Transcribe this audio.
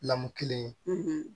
Lamu kelen ye